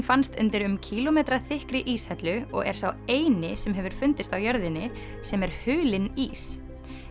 fannst undir um kílómetra þykkri íshellu og er sá eini sem hefur fundist á jörðinni sem er hulinn ís